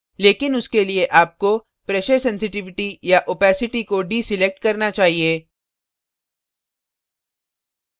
लेकिन उसके लिए आपको pressure sensitivity pressure sensitivity या opacity opacity को deselect करना चाहिए